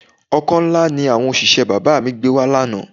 Ọkọ́ ńlá ni àwọn òṣìṣẹ́ bàbá mi gbé wa lánàá